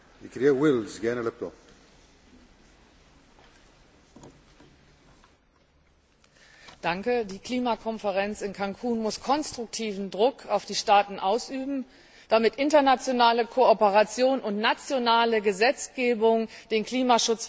Herr Präsident! Die Klimakonferenz in Cancún muss konstruktiven Druck auf die Staaten ausüben, damit internationale Kooperation und nationale Gesetzgebung den Klimaschutz voranbringen.